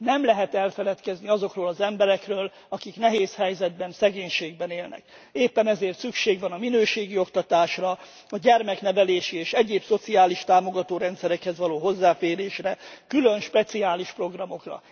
Nem lehet elfeledkezni azokról az emberekről, akik nehéz helyzetben, szegénységben élnek. Éppen ezért szükség van a minőségi oktatásra, a gyermeknevelési és egyéb szociális támogató rendszerekhez való hozzáférésre, külön speciális programokra.